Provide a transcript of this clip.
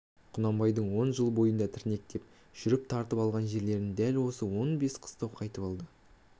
құнанбайдың он жыл бойында тірнектеп жүріп тартып алған жерлерінен дәл он бес қыстау қайтып алды